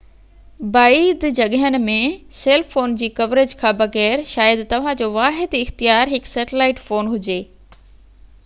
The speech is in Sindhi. بعيد جڳهين ۾ سيل فون جي ڪوريج کان بغير شايد توهان جو واحد اختيار هڪ سيٽلائيٽ فون هجي